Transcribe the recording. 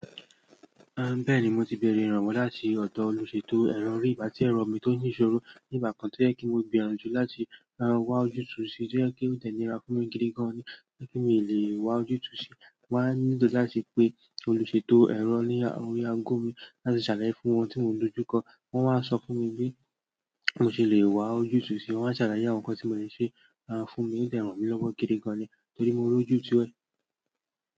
Bẹ́ẹ̀ni mo ti bẹ̀rẹ̀ ìrànwọ́ láti ọ̀dọ̀ olùṣètò ẹ̀rọ rí ìgbà tí ẹ̀rọ mi tó ń ṣoró ní ìgbà kan tó yẹ kí mo gbìyànjú láti wá ojú túu si tó jẹ pe o de nira fún mi gidi gan ni tí mi lè wá ojú túu si mo wá nílò láti pé olùṣètò ẹ̀rọ ní orí aago mi láti sàlàyé fún wọn tí mo ń dojú kọ wọn wá ń sọ fún mi bí mo ṣe lè wá ojú túu si won wá salaye àwọn nǹkan tí mo lè ṣe fún mi ó de ràn mí lọ́wọ́ gidi gan ni torí mo rí ojú itúú ẹ.